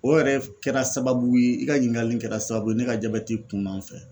O yɛrɛ f kɛra sababu ye i ka ɲininkali in kɛra sababu ye ne ka jabɛti kuna n fɛ.